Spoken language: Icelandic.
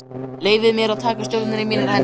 Leyfði mér að taka stjórnina í mínar hendur.